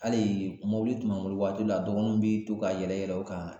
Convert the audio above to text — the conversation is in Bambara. Hali tun b'an bolo waati la a dɔgɔnunw bi to ka yɛlɛ yɛlɛ o kan